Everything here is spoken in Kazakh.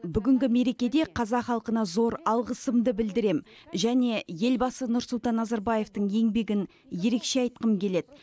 бүгінгі мерекеде қазақ халқына зор алғысымды білдірем және елбасы нұрсұлтан назарбаевтың еңбегін ерекше айтқым келеді